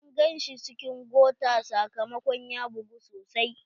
An gan shi cikin gota sakamakon ya bugu sosai.